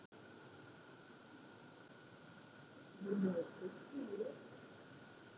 Gísli: Munuð þið sigla í vetur?